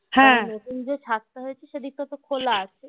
নতুন যেই ছাদটা হয়েছে সেই দিকটা তো খোলা আছে